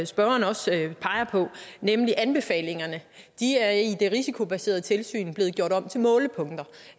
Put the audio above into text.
spørgeren også peger på nemlig anbefalingerne i det risikobaserede tilsyn er blevet gjort om til målepunkter